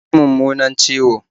Ta ji mummunan ciwo